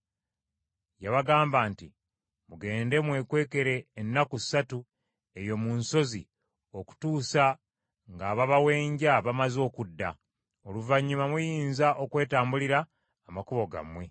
Yabagamba nti, “Mugende mwekwekere ennaku ssatu eyo mu nsozi okutuusa ng’ababawenja bamaze okudda, oluvannyuma muyinza okwetambulira amakubo gammwe.”